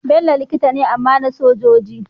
Bello likita ne amma na sojoji